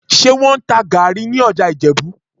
Ṣé wọ́n ń ta gàárì ní ọjà Ìjẹ̀bú?